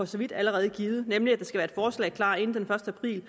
så vidt allerede givet nemlig at der skal forslag klar inden den første april